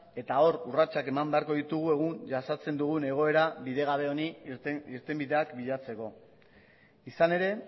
eta hor urratsak eman beharko ditugu egun jasaten dugun egoera bidegabe honi irtenbideak bilatzeko izan ere